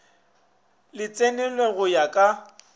le tsenelwe go ya ka